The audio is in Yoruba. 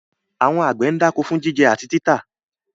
Àwọn àgbẹ̀ ń dáko fún jíjẹ àti títà.